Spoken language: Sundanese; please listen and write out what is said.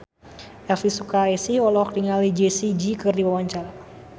Elvi Sukaesih olohok ningali Jessie J keur diwawancara